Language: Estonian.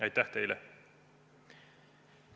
Aitäh teile!